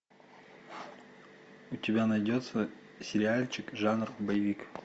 у тебя найдется сериальчик жанр боевик